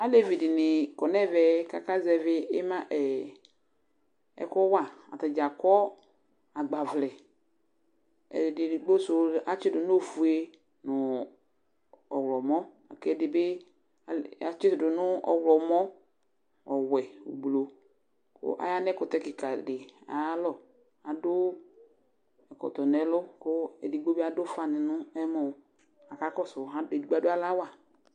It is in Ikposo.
Alevi dɩnɩ kɔ nɛvɛ kaka zɛvɩ ɩma ɛɛ, ɛkʋ wa ;atadza akɔ agbavlɛ, edigbo sʋ atsɩdʋ n' ofue nʋ ɔɣlɔmɔ; k' ɛdɩ bɩ atsɩdʋ n ' ɔɣlɔmɔ ,ɔwɛ, blu, kʋ aya nɛkʋtɛ kɩka ayalɔAdʋ ɛkɔtɔ nɛlʋ k' edigbo bɩ adʋ ʋfa nɩ n 'ɛmɔ aka kɔsʋ ade gbo adʋ alɔ awa